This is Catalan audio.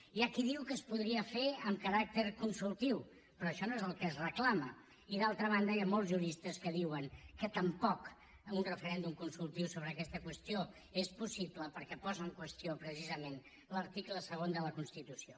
hi ha qui diu que es podria fer amb caràcter consultiu però això no és el que es reclama i d’altra banda hi ha molts juristes que diuen que tampoc un referèndum consultiu sobre aquesta qüestió és possible perquè posa en qüestió precisament l’article segon de la constitució